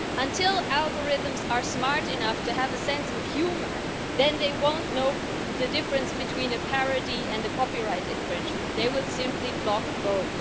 Until algorithms are smart enough to have a sense of humour, then they won't know the difference between a parody and a copyright infringement. They would simply block both.